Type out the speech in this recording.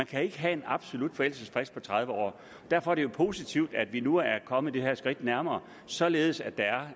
kan have en absolut forældelsesfrist på tredive år derfor er det jo positivt at vi nu er kommet tingene et skridt nærmere således at der